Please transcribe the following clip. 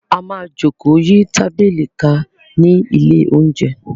A máa jókòó yí tábìlì ká ní ilé-oúnjẹ.